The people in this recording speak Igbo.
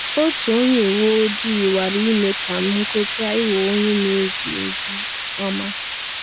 Otu onye uwe ojii nwara ime ka m kweta ịghọ onye na-ezi ozi ọma.